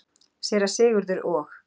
Séra Sigurður og